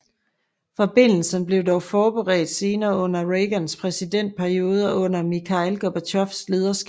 Forbindelserne blev dog forbedret senere under Reagans præsidentperiode og under Mikhail Gorbatjovs lederskab